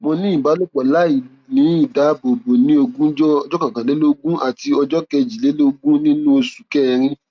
mo ní ìbálòpọ láìní ìdáàbòbò ní ogúnjọ ọjọ kọkànlélógún àti ọjọ kejìlélógún nínú oṣù kẹrin